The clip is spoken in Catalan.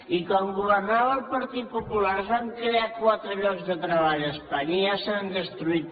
i quan governava el partit popular es van crear quatre llocs de treball a espanya i ja se n’han destruït